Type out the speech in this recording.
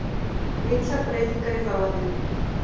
Litlar breytingar í farvatninu